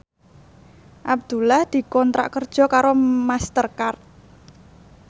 Abdullah dikontrak kerja karo Master Card